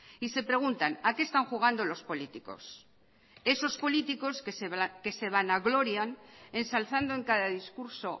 y se preguntan a qué están jugando los políticos esos políticos que se vanaglorian ensalzando en cada discurso